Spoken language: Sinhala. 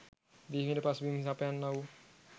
බිහිවීමට පසුබිම සපයන්නා වූ